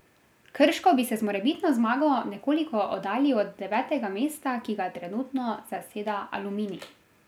Krško bi se z morebitno zmago nekoliko oddaljil od devetega mesta, ki ga trenutno zaseda Aluminij.